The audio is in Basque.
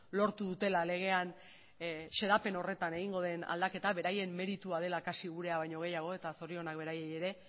lortu dutela legean xedapen horretan egingo den aldaketa beraien meritua dela kasi gurea baino gehiago eta zorionak beraiei ere